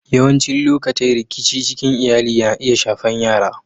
Yawancin lokatai rikici cikin Iyalli na iya shafan yara.